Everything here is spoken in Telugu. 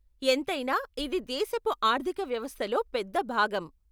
ఎంతైనా ఇది దేశపు ఆర్థిక వ్యవస్థలో పెద్ద భాగం.